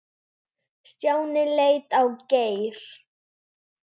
Stjáni leit á Geir.